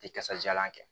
Tɛ kasajalan kɛ